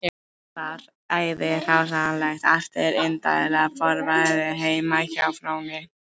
Var þar æði hráslagalegt eftir indælt vorveðrið heima á Fróni